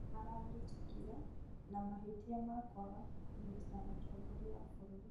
Nĩmaranyitĩkire na mahĩtia ma kũaga kũgitĩra mũtongoria wa bũrũri